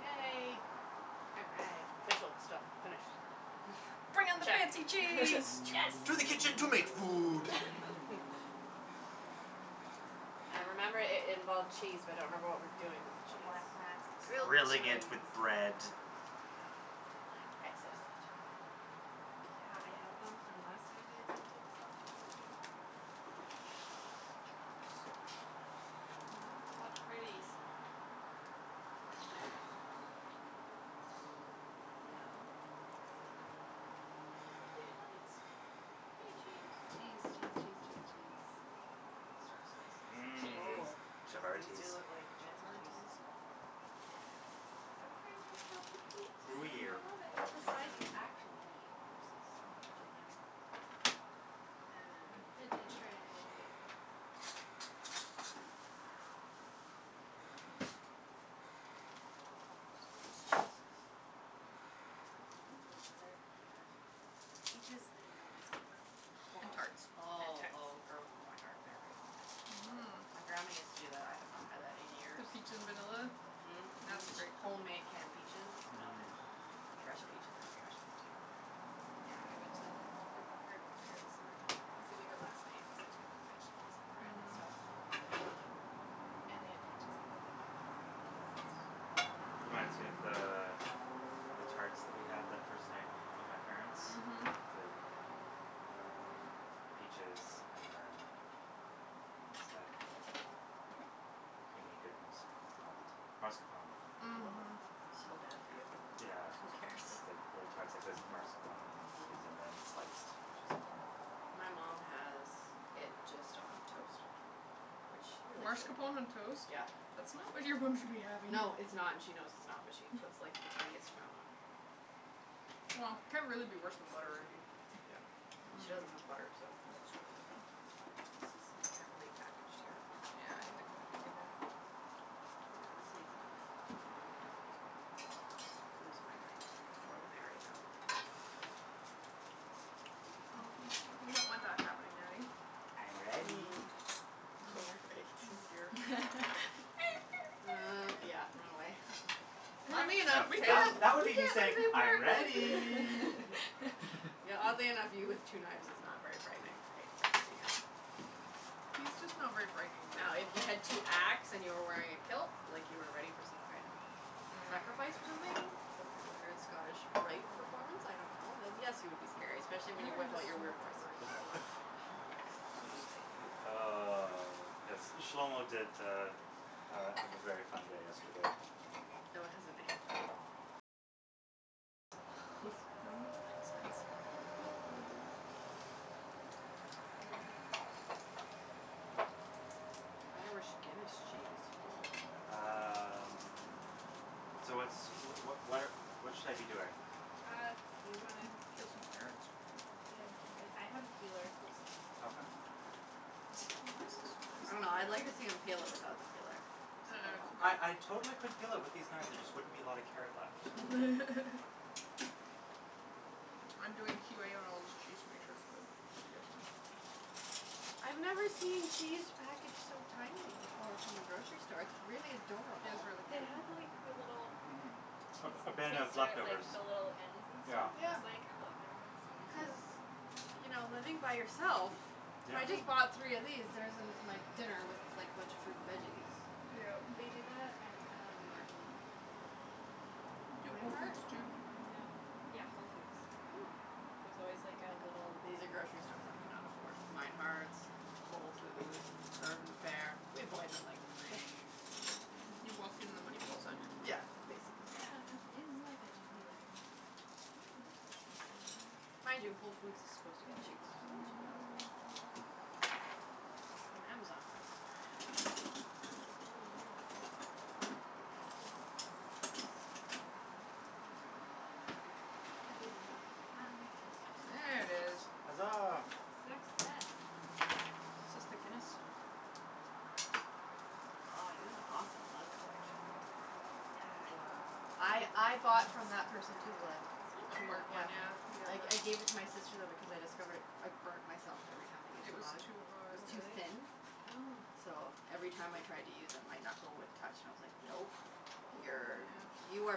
Yay Official stuff, finish Bring on the Check. fancy Cheese. cheese. To the kitchen to make food I remember it it involved cheese but I don't remember what we're doing with the The cheese. black mats look so Grilled Grilling good. it with cheese! bread The black Excellent. mats are such a good Yeah, I idea. had Yeah. them from last time I attempted to self photography What pretties All right So Yay lights Yay cheese Cheese cheese cheese cheese cheese I could start slicing some cheeses. Mmm Oh chavatis feel it like fancy cheese Chavatis Yeah. I Gruyere love it. That's the size you actually need Versus I know gigantic one. Um, veggie tray And then for dessert we have, peaches, and vanilla ice cream. Home tarts. Awesome. Oh oh girl for my heart there right. Yeah, yeah. Mmm My grandma used to do that. I have not had that in years. peach in vanilla? Mhm Yeah, mhm it's a great homemade canned peaches, vanilla Mhm. ice cream. Fresh peaches are gonna be awesome too Yeah, I went to Urban Fare this morning, I was gonna go last night cuz I had to get like vegetables and bread and Mhm stuff And they had peaches and I was like, yes Very nice. Reminds me of the, the tarts that we had that first night, with my parents. Mhm The, um, peaches and then, what's that, creamy goodness called, mascarpone Mhm so bad for you Yeah Oh who cares That's like little tarts like that with mascarpone cheese and Mhm then sliced peaches on top of it My mom has it just on toast. Which she really shouldn't Marscapone on toast? Yeah. That's not what your mom should be having. No, it's not and she knows it's not but she puts like the tiniest amount on Wha, can't really be worse than butter I mean Yeah, well she doesn't have butter, so This is like heavily packaged here Yeah, I had to kinda dig in there Yeah, this needs a knife. Otherwise I'm just gonna lose my mind, more than I already have. we don't want that happening, Natty. I'm ready. Mm. Oh Oh, great oh, dear Uh, yeah, run away Oddly No enough that that would me just saying, "I'm ready" Yeah oddly enough, you with two knives is not very frightening He's just not very frightening in No, if general. you had two axe and you were wearing a kilt like you were ready for some kind of Mm sacrifice or something, some kind of weird Scottish rite performance, I don't know, then yes you would be scary. Especially We when haven't had a smoked in a while Ah, yes, this Shlomo did uh uh have a very fun day yesterday. Fellow has a name? Oh No accents jeez Um Irish Guinness cheese ho ho Um, so what's, wh- wh- what what should I be doing? Uh, you gonna Um, peel some carrots? peel some- I have a peeler. Okay. I don't know, I'd like to see him peel it without the peeler. Like how that Uh would I I go totally could peel it with these knives there just wouldn't be a lot of carrot left. I'm doing Q A on all this cheese to make sure it's good just so you guys know. Okay I've never seen cheese packaged so tinily before from the grocery store, it's really It is adorable. really They cute. had like a little Mhm A cheese a bin of taster at like leftovers the little ends and Yeah. stuff I Yeah. was like oh I've never had this ones so Cuz, you know living by yourself Yeah. I just bought three of these, there's it's my dinner, was like a bunch of fruit and veggies. Yeah. They do that at um Where? Do at Whole Meinhardts? Foods too No. Yeah, Whole Foods. Oh. There's always like a little These are grocery stores I can not afford. Meinhardts, Whole Foods, Urban Fare. We avoid them like the plague. You walk in and the money falls out of your Yeah pocket basically Where on earth is my veggie peeler? That is a good question Mind you Whole Foods is supposed to get cheaper It's So that should in be awesome another drawer. From Amazon buying it That's really weird, had one, swear I had one I believe you. Ah There it is. Hazaa! Success! Is this the Guinness? Aw you have an awesome mug collection. Yeah. I I bought from that person too the This one? the the tree one, work one yeah. yeah I I gave it to my sister though because I discovered it, I burnt myself every time I used It the was mug, too it hot. was Oh too really? thin Oh So, every time I tried to use it my knuckle would touch and I was like, nope, you're Yeah you are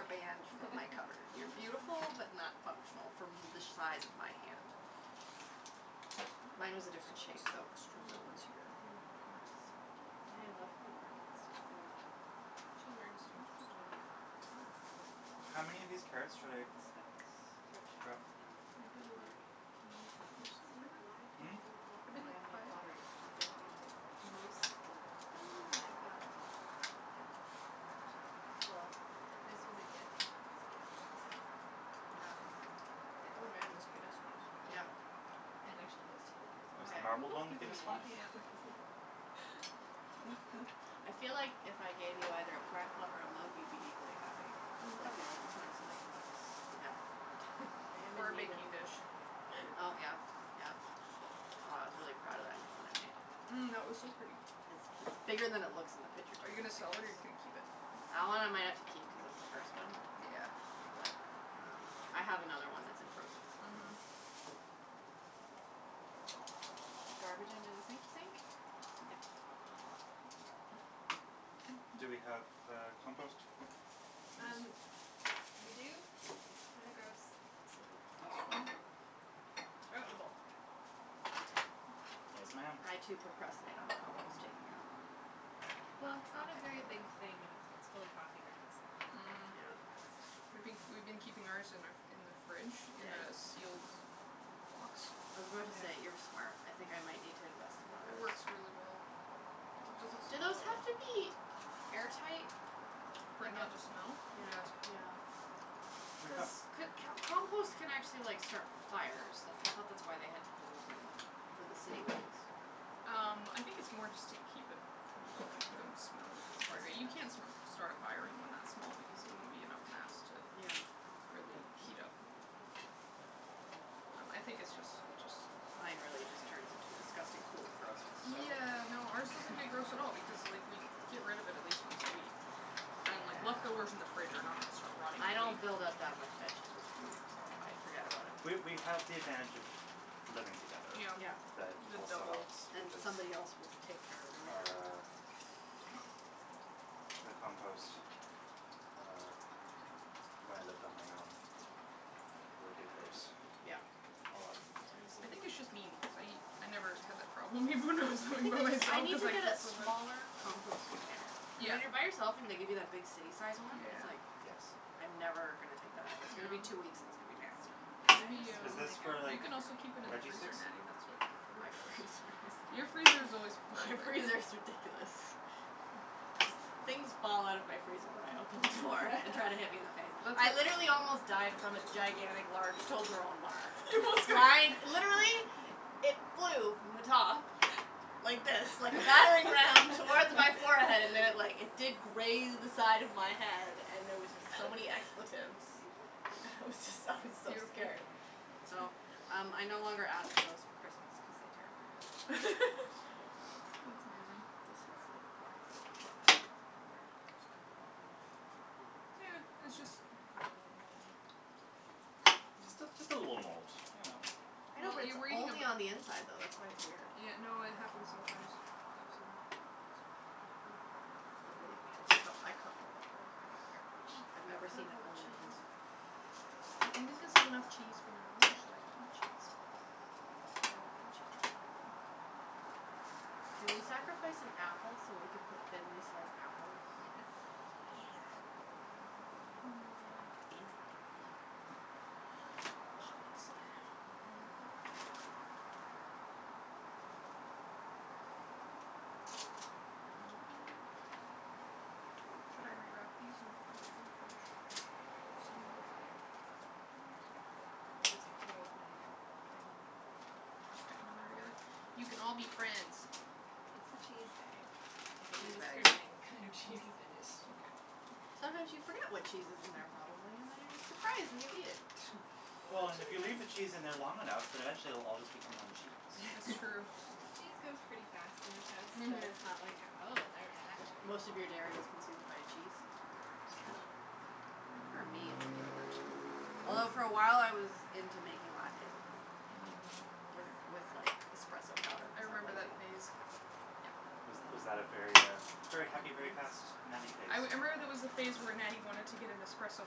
banned from my cupboard, you're beautiful but not functional from the size of my hand. Mine was a different shape though, from that one. Mm. Yeah I love her work, it's just so She has a very distinctive style this one's cool, How many of these carrots should I like the speckles Thrift shop grab? and Maybe like, bargain one per Yeah person for see, why now. pay Hmm? full pop for Maybe like handmade five. pottery, you don't need to Most of them I bought new, Yeah actually Well, this was a gift and that was a gift and so was that. Yeah And Oh that man one this and Guinness that one one is Yeah And actually those two were gift Oh Oh is the sorry marbled people have one the given me a Guinness lot one? of Yeah mugs I feel like if I gave you either a plant pot or a mug you'd be equally happy. Mm It's like Oh you yeah like the plants you like the mugs. Yeah I am Or in a need of baking dish Oh yeah, yeah, wow I was really proud of that new one I made. Mm that was so pretty! It's bigger than it looks in the picture too. Are you gonna It's sell like it the or you gonna keep it? That one I might have to keep cuz it's the first one. Yeah But, um, I have another one that's in process already, Mhm so The garbage under the sink sink? Yeah Okay Do we have, uh, compost? Um, we do, it's kinda gross, so Throw it in the bowl, for now Yes ma'am! I too procrastinate on the compost taking out. No, Well it's it's not not a my very favorite big thing and its gets full of coffee grounds and like, Mm really Yeah fast We been we've been keeping ours in our in the fridge in Ya- a yes sealed box I was about to say, "You're Yeah. smart", I think I might need to invest in one of It those works really well. It doesn't Do those have to be air tight? For it not to smell? Yeah Yes. yeah Cuz c- can't compost can actually like start fires, that's I thought that's why they have holes in them, for the city ones Um, I think it's more just to keep it from building up poop smell, Disgusting you can't that's start a fire in one that small because it won't be enough mass to Yeah, okay, really heat up okay Um I think it's just it's just Mine really just turns into a disgusting pool of grossness, so Yeah, no, ours doesn't get gross at all because like we get rid of it at least once a week I mean like leftovers in the Yeah fridge are not going to start rotting I in a don't week build up that much vegetable debris, so I forget about it We we have the advantage of living together Yeah Yeah That the also helps And Because, somebody else will take care of everything our the compost, uh, when I lived on my own, would get gross Yeah A lot more I easily think it's just me because I I never had that problem even when I was living by I myself need cuz to I get a get so much smaller compost container Yeah When you're by yourself and they give you that big city sized one, it's Yeah like, Yes I'm never gonna take that out, it's gonna be two weeks and it's gonna be nasty I just Natty have Is um, this like a, for you like can also Rubbermaid keep it in the veggie freezer sticks? Natty, that's what Yeah Courtney does My freezer Your is freezer is always full. My freezer is ridiculous Things fall out of my freezer when I open the door and try to hit me in the face. Let's I literally almost died from a gigantic large Toblerone bar, flying, literally, it flew from the top, like this, like a battering ram, towards my forehead and then it like, it did graze the side of my head and there was just so many expletives. I was just, I was so Beautiful scared So, um I no longer ask for those for Christmas cuz they terrify me. That's amazing This has like black stuff it's a bit weird, just cut the bottom off Mm, yeah, it's just, cut a little Just a, just a little mold, you know I know but it's only on the inside though, that's why it's weird Yeah, no, it happens sometimes, I've seen that I hate it when it happens. Oh believe me I d- I cut mold off all the time, I don't care. I've never Cut seen up it all the only on the cheese inside I think enough cheese for now, or should I cut more cheese? I don't want no cheese Can we sacrifice an apple so we can put thinly sliced apples? Yes Yeah It's gonna Mm be fancy pancy Oh yes Should I re-wrap these and put them back in the fridge? some more wrap Mm sure. Or just throw as many will fit in that zip-lock, and just You can all be friends. It's the cheese bag, it Cheese doesn't bag. discriminate what kind of cheese is in it. Mkay Sometimes you forget what cheese is in their probably and then you're just surprised when you eat it Well and if you leave the cheese in there long enough then eventually it will all just become one cheese That's true. Cheese goes pretty fast in this house, so Mhm it's not like oh there's that che- Most of your dairy is consumed by cheese Pretty Yeah. much. I think for me it's yogurt Although for awhile I was into making lattes at home Mm With with like espresso powder I cuz I'm remember that lazy phase Yeah Was was that a very uh very happy, very fast Natty phase? I wou- I remember there was a phase where Natty wanted to get an espresso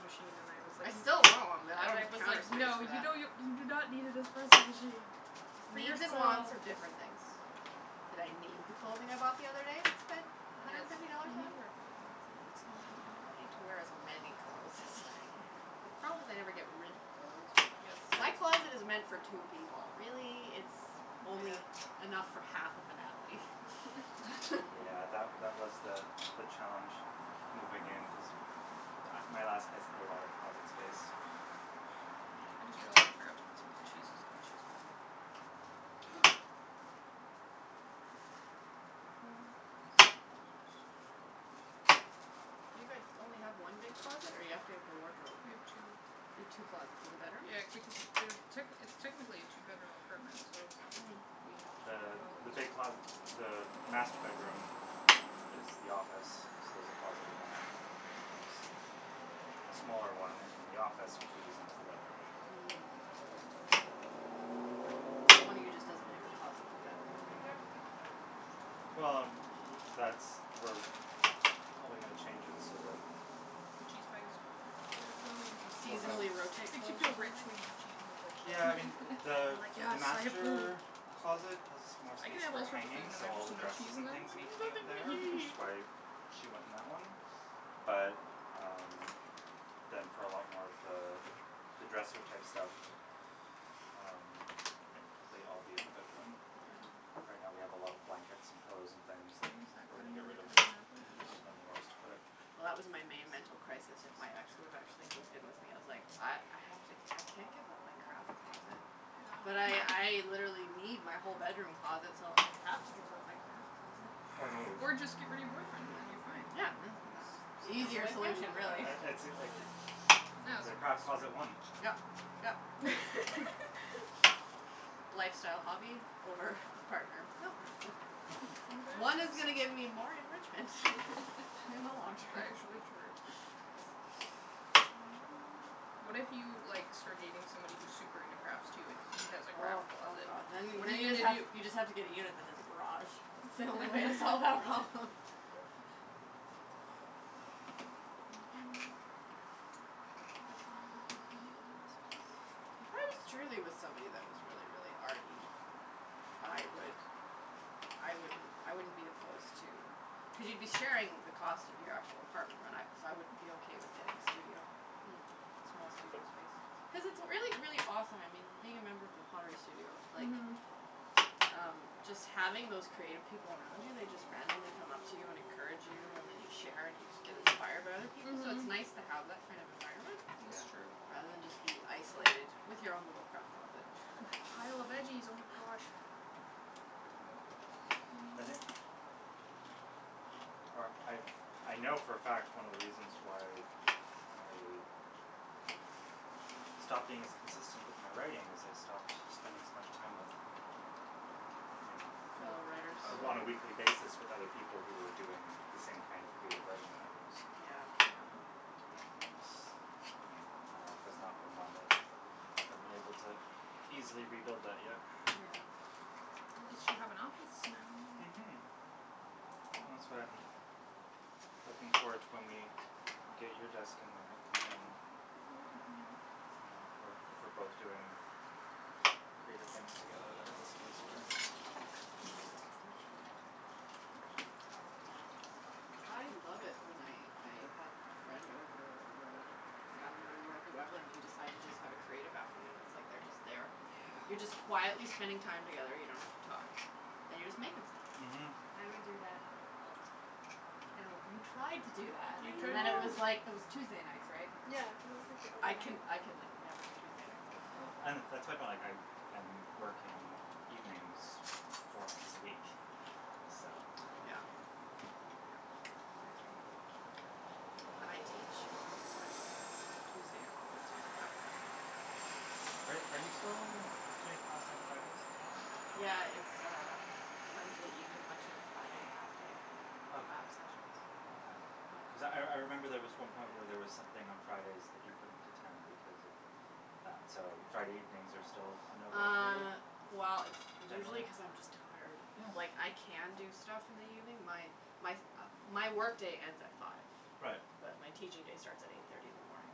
machine and I was like, I n- still want one but I , and don't I have the was counter like, space "No for you that. don't n- , you do not need an espresso machine" Cuz For needs and wants yourself are different things. Did I need the clothing I bought the other day and spent a hundred Yes, and fifty dollars you need on? to wear clothing, that's a that's an Well important I don't need to wear as many clothes as I have. The problem is I never get rid of clothes. Yes My closet is meant for two people really, it's only Yeah enough for half of a Natalie. Yeah that wa- that was the the challenge moving in cuz m- my last place had a lot of closet space, for me I just realized I forgot to put some of the cheeses on the cheese plate Ooh. You guys only have one big closet or you have to have a wardrobe? We have two. You have two closets in the bedroom? Yeah techni- it's technically a two bedroom apartment, so, Mm. we have two Uh, closets the big closet, the master bedroom is the office so there's a closet in there and then there's a smaller one in the office which we're using as the bedroom Mm k So one of you just doesn't have your closet in the bedroom Yep Yeah. Well and w- w- that's we probably gonna change it so that the cheese Overflowing You We'll have seasonally rotate clothes or rich something? when you have cheese in the fridge so Yeah I mean the I'm like, the "Yes, so much food." master closet has more I can space have for all sorts of food hanging and then so all there's the no cheese dresses in and there, I'm things like, need to be up "Nothing there which to is eat." why she went in that one, but um, then for a lot more of the, the dresser type stuff um, like I'll I'll be in the bedroom. Mhm. Yeah Right now we have a lot of blankets and pillows and things, that, Can we use that we're gonna cutting get board to rid of, cut up an apple? just didn't have anywhere else to put it Well that was my main mental crisis if my ex would've actually moved in with me, I was like "I, I have to, I can't give up my craft closet", but I, I literally need my whole bedroom closet so I have to give up my craft closet Or move Or just get rid of your boyfriend then you're fine Yeah The easier solution really the craft closet won Yep yep Lifestyle hobby over partner? No problem. One is gonna get me more enrichment in the long term. What if you like, start dating somebody who's super into crafts too and he has a Oh craft oh closet? god. Then, What are then you you just gonna have, do? you just have to get a unit that has a garage. That's the only way to solve that problem. That's not working If I was truly with somebody that was really really arty, I would, I wouldn't, I wouldn't be opposed to, cuz you'd be sharing the cost of your actual apartment right, and I, so I would be okay with getting a studio. Mhm. Small studio space. Cuz it's really really awesome, I mean, being a member of the studio, like, Mhm um, just having those creative people around you, they just randomly come up to you and encourage you, and then you share and you get inspired by other Mm people, so it's nice Mhm to have that kind of environment, Is Yeah true rather than just be isolated with your own little craft closet. Pile of veggies oh my gosh Or I, I know for a fact one of the reasons why I stopped being as consistent with my writing, is I stopped spending as much time with, you Fellow writers know, on a weekly basis with other people who were doing the same kind of creative writing that I was Yeah Yeah And, you know, my life has not been one that I've been able to easily rebuild that yet Yeah At least you have an office now. Mhm Well that's why I'm, looking forward to when we, get you a desk in there, Yeah, cuz then then we can hang out Yeah we're if we're both doing creative things together that makes it easier Tells about you. I love it when I I have a friend over or a family member whoever and we decide to just have a creative afternoon, it's like they're just there Yeah You're just quietly spending time together, you don't have to talk, and you're just making stuff Mhm I would do that all the time I know what, you tried to do that I and then it was know! like, it was Tuesday nights, right? And I'm li, Yeah cuz it was like the I only can night I can like never do Tuesday nights Yeah well Yeah and that's my point like I am working evenings four nights a week, so Yeah Yeah, totally Well and I teach on Wednesdays so Tuesday I'm always doing a lot of prep work. Are are you still doing a class on Fridays as well? Yeah it's uh Wednesday evening lecture Friday half day Okay. lab sessions Okay. Yeah Cuz I I remember there was one point where there was something on Fridays that you couldn't attend because of that so Friday evenings are still a no go for you, Uh, well it's usually generally? cuz I'm just tired. Yeah Like I can do stuff in the evening, my my my work day ends at five. Right But my teaching day starts at eight thirty in the morning.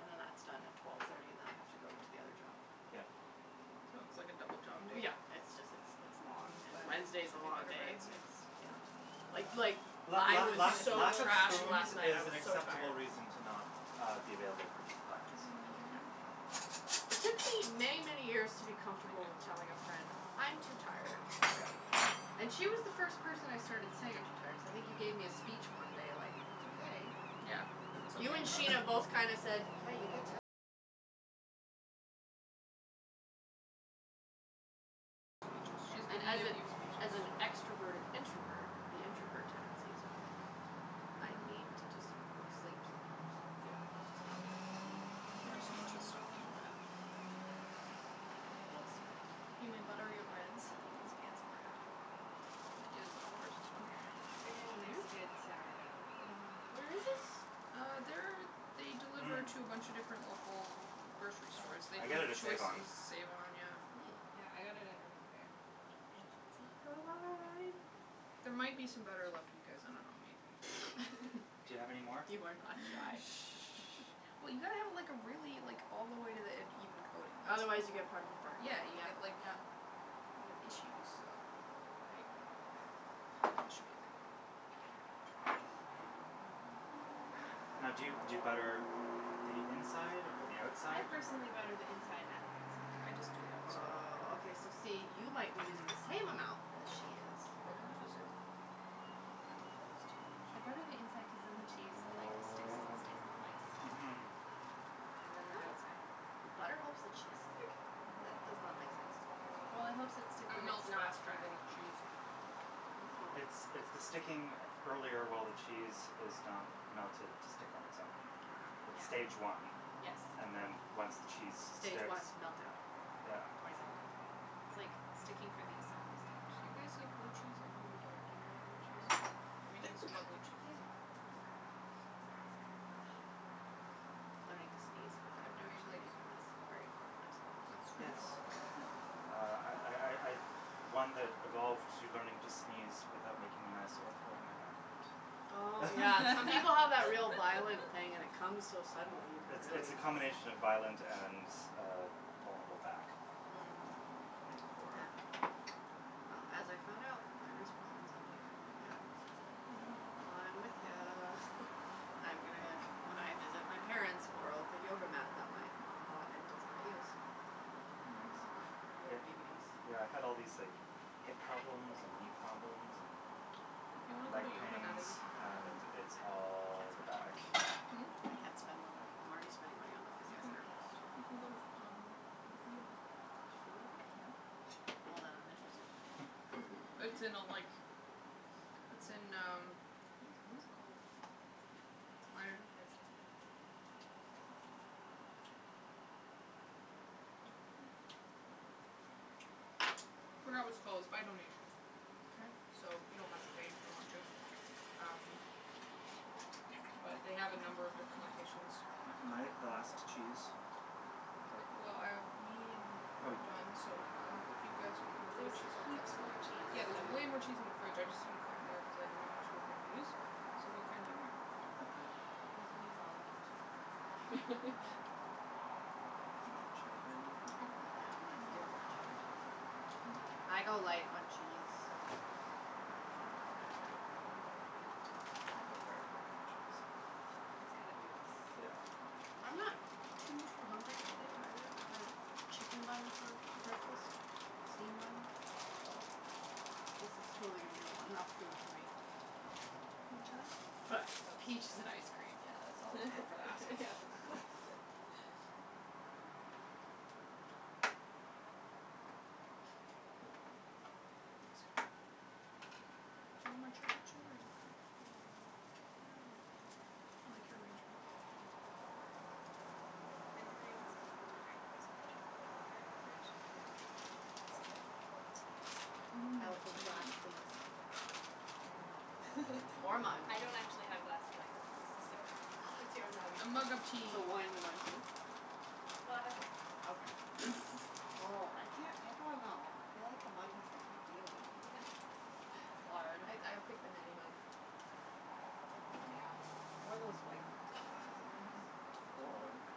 And then that's done at twelve thirty and then I have to go to the other job Yeah. So, So it's like a double job w day yeah, it's just it's it's long, Mmm and butter, Wednesday's a should we long butter day breads? s Yeah it's yeah Uh Like like, la I la was lack so lack of trashed spoons last night, I is sandwiches an was so acceptable tired. reason to not uh be available for plans. Yeah Um It took me many many years to be Thank comfortable with you. telling a friend "I'm too tired, Yeah sorry". And she was the first person I started saying "I'm too tired" cuz I think you gave me a speech one day like "that's okay". Yeah Yeah, and as a as an extroverted introvert, the introvert tendencies are like "I Mhm need to just go to sleep sometimes". Yeah yeah It's just how it is. Mm, you Yeah just it's need to stop feeling bad about it, that's all. Guilt's horrible. You may butter your breads. This fancy bread It is Oliver's, it's wonderful They get a nice Joop! good sourdough with Mhm Where is this? Uh, they're, they deliver Mmm to a bunch a different local grocery Yeah, stores, they I do get it at save-on Choices, save-on, yeah Mm Yeah I got it at Urban Fare I can see There might be cheese some butter left for you guys, I don't know maybe Do you have any more? You are not shy. Well you gotta have like a really, like all the way to the end even coating Otherwise you get part of it burned, Yeah yep you yep get like, yeah you have issues, so there you go That should be okay. Okay. Now do you do you butter the inside or the I outside or personally butter the inside and the outside. I just do the outside. Woah, okay so see, you might be using the same amount as she is. But on two sides Probably I don't use too much. I butter the inside cuz then the cheese like sticks and stays in place. Mhm And then the Oh! outside The butter helps the cheese stick? That Mhm does not make sense to me. Well it helps it stick It when it's melts not faster than fried. the cheese. Oh It's it's the sticking earlier while the cheese is not melted to stick on it's own. Wow It's stage Yeah one, Yes and then once the cheese Stage sticks, one meltdown, yeah twenty seventeen It's like, sticking for the assembly Do stage. you guys like blue cheese? I know you don't. Do you like blue cheese? Okay, we need some excuse more blue cheese. me, Ah Learning to sneeze I'm without doing actually like making a mess, very important life skill It's really Yes true Uh I I I I'm one that evolved to learning to sneeze without making a mess or throwing my back out. Oh yeah, some people have that real violent thing and it comes so Um, suddenly, you could it's it's really the combination of violent and uh vulnerable back, Mm um make for Yeah Well as I found out, my wrist problems emanate from my back. So, Mhm Yeah Mm I'm with ya. I am gonna, when I visit my parents borrow the yoga mat that my mom bought and does not use. So Yes, Mhm so yep, yoga DVDs yeah I had all these like hip problems and knee problems If you wanna and go leg to yoga Natty pains we can go together. and I can't it's all the spend more back money. Hmm? I can't spend more money. I'm already spending money on the You can, physiotherapist you can go to f um, the free yoga There's free yoga? Yep Well then I'm interested. Hm It's in a like, it's in um, what is what is it called? There's room for a second Forgot what it's called, it's by donation Okay So you don't have to pay if you don't want to, um, but they have a number of different locations. Am I the last cheese? Mkay Well, um, me and- Oh we're you done, so um, if you guys want more blue There's cheese I'll cut heaps some more cheese Yeah there's so way more cheese in the fridge I just didn't cut more cuz I didn't know how much we were gonna use So what kind do you want and I'll cut it I for you. I I We can use all of the cheese, it's fine. Uh, more cheddar maybe? Okay Yeah I'm gonna steal more cheddar too so Yeah Mkay I go light on cheese so, I Uh think I'm good now. I go heavy on the cheese. I go very heavy on the cheese. Sorry. It's gotta ooze. Yeah That's the I'm key. not too too hungry today either, I had a chicken bun for breakfast, steamed bun, but this is totally going to be a lo 'nough food for me Want cheddar? I had But, toast so peaches and ice cream yeah there's always room for that. That's good. Do you want more cheddar too or you okay? Mm, nah I'm okay. I like your arrangement. Mm Anybody wants anything to drink there's a pitcher of cold water in the fridge and some cold tea. Mmm I will take a glass tea please. Or a mug Or mug I don't actually have glasses I have mugs, so, Oh, that's pick your mug. A awesome. mug of tea So wine in a mug too? Well I have wine glasses. Okay Oh I can't pick one though. I feel like the mug has to pick you. It's hard. I I'd pick the Natty mug Yeah. Or one That's the of one those I'm white ones. Those look mhm nice.